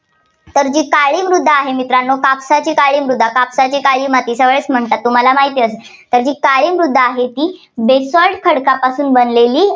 तर जी काळी मृदा आहे, मित्रांनो कापसाची काळा मृदा. कापसाची काळी माती म्हणतात, तुम्हाला माहितीचं आहे. तर काळी मृदा आहे ती basalt खडकापासून बनलेली आहे.